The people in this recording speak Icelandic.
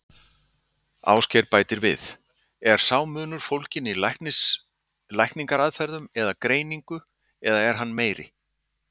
Ásgeir bætir við: Er sá munur fólginn í lækningaraðferðum eða greiningu, eða er hann meiri?